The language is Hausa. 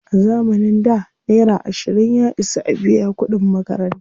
A zamanin da, naira ashirin ya isa a biya kuɗin makaranta.